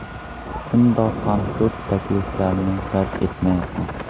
Shundoq ham ko‘p takliflarni rad etayapman.